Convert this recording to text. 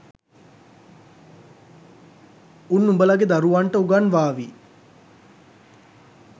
උන්උඹලාගේ දරුවන්ට උගන්වාවි